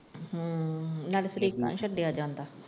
ਹਮ ਨਾਲੇ ਸਰੀਕਾ ਨਹੀਂ ਛੱਡਿਆ ਜਾਂਦਾ।